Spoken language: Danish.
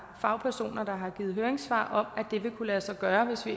fagpersoner der har afgivet høringssvar om vil kunne lade sig gøre hvis vi